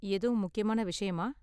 எதும் முக்கியமான விஷயமா?